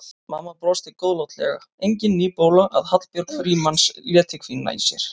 Mamma brosti góðlátlega, engin ný bóla að Hallbjörg Frímanns léti hvína í sér.